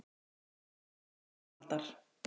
Besta verk Arnaldar